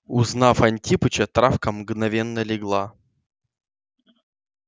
узнав антипыча травка мгновенно легла